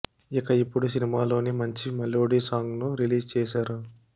ఇక ఇప్పుడు సినిమాలోని మంచి మెలోడీ సాంగ్ ను రిలీజ్ చేశారు